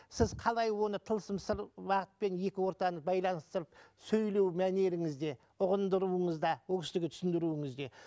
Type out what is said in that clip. сіз қалай оны тылсым сыр бағытпен екі ортаны байланыстырып сөйлеу мәнеріңізде ұғындыруыңызда ол кісіге түсіндіруіңізде